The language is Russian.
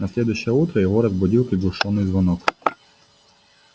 на следующее утро его разбудил приглушённый звонок